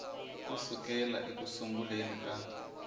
ku sukela eku sunguleni ka